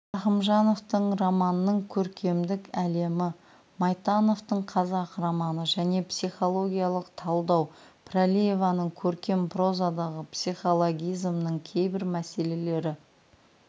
рахымжановтың романның көркемдік әлемі майтановтың қазақ романы және психологиялық талдау пірәлиеваның көркем прозадағы психологизмнің кейбір мәселелері